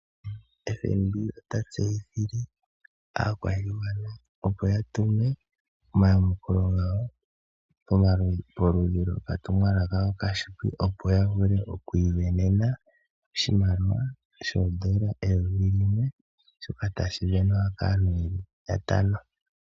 FNB ota tseyithile aayakulwa ye opo ya tumwe omayamukulo gawo pamukalo gokatumwalaka okafupi, opo ya vule oku isindanena oshimaliwa shoodola dhaNamibia eyovi limwe (N$ 1000), shoka tashi sindanwa kaantu yatano.